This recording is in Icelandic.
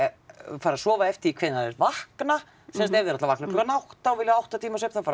fara að sofa því hvenær þeir vakna sem sagt ef þeir ætla að vakna klukkan átta og vilja átta tíma svefn þá fara